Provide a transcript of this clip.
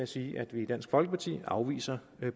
sige at vi i dansk folkeparti afviser